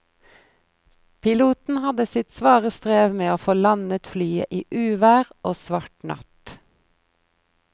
Piloten hadde sitt svare strev med å få landet flyet i uvær og svart natt.